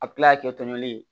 A bɛ kila ka kɛ tɔnɲɔnni ye